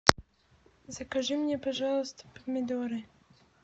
закажи мне пожалуйста помидоры